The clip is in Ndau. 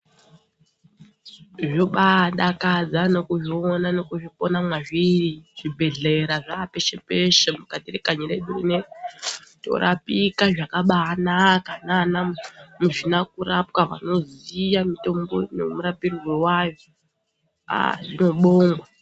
Zvobaadakadza nekuzviona nekupona mwazviri zvibhedhlera zvaapeshe peshe mukati mwekanyi redu rineri. Torapika zvakabaanaka naana muzvinakurapa vanoziye mitombo nemarapirwe ayo. Aah zvinobongwa.